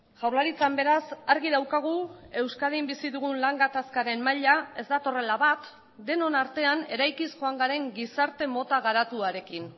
jaurlaritzan beraz argi daukagu euskadin bizi dugun lan gatazkaren maila ez datorrela bat denon artean eraikiz joan garen gizarte mota garatuarekin